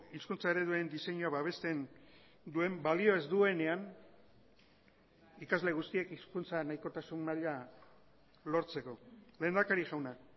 hizkuntza ereduen diseinua babesten duen balio ez duenean ikasle guztiek hizkuntza nahikotasun maila lortzeko lehendakari jauna